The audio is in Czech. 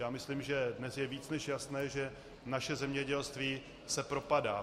Já myslím, že dnes je víc než jasné, že naše zemědělství se propadá.